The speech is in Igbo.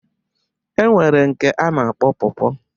E nwere nke a na-akpọ pọ pọ